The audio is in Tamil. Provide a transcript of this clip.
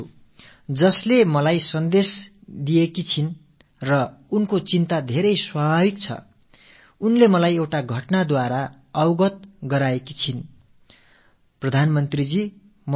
எனதருமை நாட்டு மக்களே எனக்கு இந்தத் தகவல் அனுப்பியதற்காக நான் ஷில்பி வர்மா அவர்களுக்கு மிகுந்த கடமைப்பட்டிருக்கிறேன் அவரது இந்தக் கவலை மிகவும் இயல்பான ஒன்று தான்